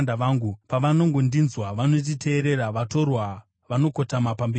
Pavanongondinzwa, vanonditeerera; vatorwa vanokotama pamberi pangu.